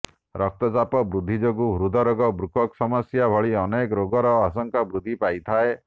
ରକ୍ତଚାପ ବୃଦ୍ଧି ଯୋଗୁଁ ହୃଦରୋଗ ବୃକକ୍ ସମସ୍ୟା ଭଳି ଅନେକ ରୋଗର ଆଶଙ୍କା ବୃଦ୍ଧି ପାଇଥାଏ